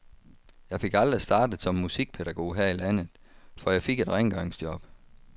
Jeg fik aldrig startet som musikpædagog her i landet, for jeg fik et rengøringsjob.